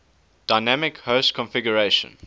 dynamic host configuration